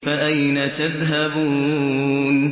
فَأَيْنَ تَذْهَبُونَ